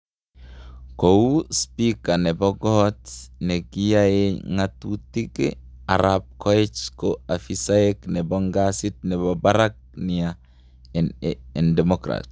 kou spika nepo kot nekiyae ngetutik, Arap koech ko ofisaek nepo ngazi nepo barak nia en democrat